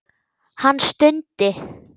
Hann stundi.